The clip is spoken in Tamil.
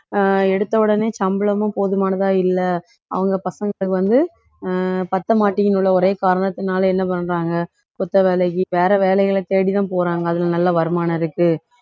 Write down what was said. அஹ் எடுத்தவுடனே சம்பளமும் போதுமானதா இல்ல அவங்க பசங்களுக்கு வந்து அஹ் பத்தமாட்டின்னு உள்ள ஒரே காரணத்துனால என்ன பண்றாங்க, கொத்த வேலைக்கு வேற வேலைகளை தேடி தான் போறாங்க அதுல நல்ல வருமானம் இருக்கு